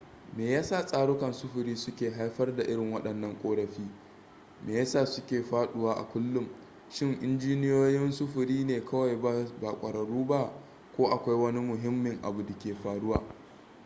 me yasa tsarukan sufuri su ke haifar da irin waɗannan ƙorafi me ya sa suke faɗuwa a kullum shin injiniyoyin sufuri ne kawai ba ƙwararru ba ko akwai wani mahimmin abu di ke faruwa ne